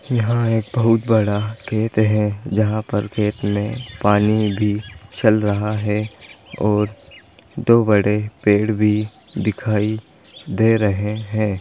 यहाँ एक बहोत बड़ा खेत हैं जहाँ पर खेत में पानी भी चल रहा हैं और दो बड़े पेड़ भी दिखाई दे रहे हैं।